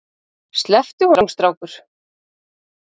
Slepptu honum strákur!